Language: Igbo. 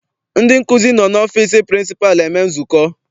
Ndị nkụzi nọ n'ọfịịsi pịrịnsịpalụ eme nzukọ.